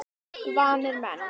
Vanir menn.